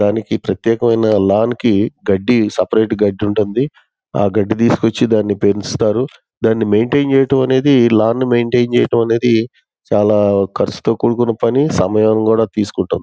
దానికి ప్రత్యేకమైన లాన్ కి సపరేట్ గడ్డి ఉంటుంది. ఆ గడ్డి తీసుకుంది దాన్ని పేరుస్తారు. దాన్ని మెయింటైన్ చేయటం అనేది లాన్ ను మెయింటైన్ చెయ్యటమే అనేది చాలా ఖర్చుతో కూడుకున్న పని. చాలా సమయం కూడా తీసుకుంటుంది.